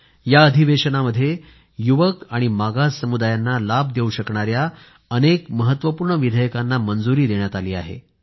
या अधिवेशनामध्ये युवक आणि मागास समुदायांना लाभ देऊ शकणाऱ्या अनेक महत्वपूर्ण विधेयकांना मंजुरी देण्यात आली आहे